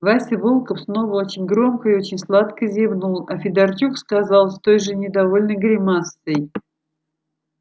вася волков снова очень громко и очень сладко зевнул а федорчук сказал с той же недовольной гримасой